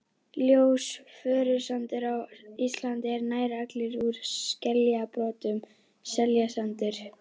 Ljós fjörusandur á Íslandi er nær allur úr skeljabrotum, skeljasandur.